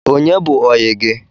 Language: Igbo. Onye bụ oyi gi?